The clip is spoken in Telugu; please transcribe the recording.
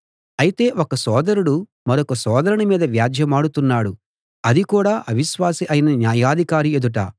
అయితే ఒక సోదరుడు మరొక సోదరుని మీద వ్యాజ్యెమాడుతున్నాడు అది కూడా అవిశ్వాసి అయిన న్యాయాధికారి ఎదుట